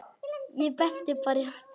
Ég benti bara í áttina.